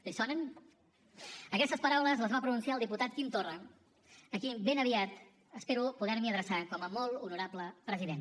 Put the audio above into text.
li sonen aquestes paraules les va pronunciar el diputat quim torra a qui ben aviat espero poder me adreçar com a molt honorable president